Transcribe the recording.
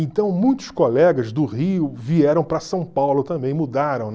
Então, muitos colegas do Rio vieram para São Paulo também, mudaram, né?